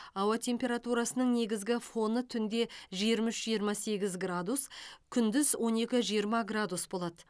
ауа температурасының негізгі фоны түнде жиырма үш жиырма сегіз градус күндіз он екі жиырма градус болады